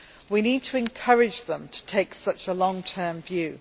We need to encourage them to take such a long term view.